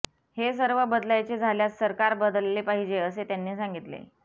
हे सर्व बदलायचे झाल्यास सरकार बदलले पाहिजे असे त्यांनी सांगितले